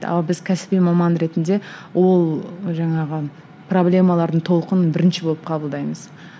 ал біз кәсіби маман ретінде ол жаңағы проблемалардың толқынын бірінші болып қабылдаймыз